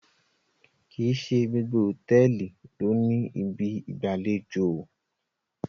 kín ṣe gbogbo hotẹẹli ló ní Ibi ìgbàlejò i.